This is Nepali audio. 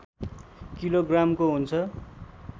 किलोग्रामको हुन्छ